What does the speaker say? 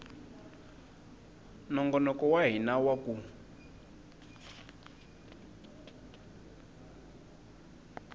nongonoko wa hina wa ku